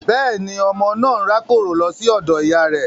Bẹ́ẹ̀ni, ọmọ naa n rakoro lo si odo iya rẹ